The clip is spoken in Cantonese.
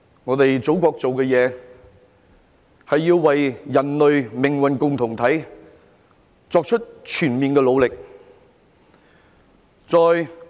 我們祖國所做的事，是要為人類命運共同體作出全面的努力。